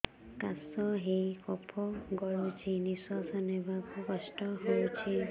କାଶ ହେଇ କଫ ଗଳୁଛି ନିଶ୍ୱାସ ନେବାକୁ କଷ୍ଟ ହଉଛି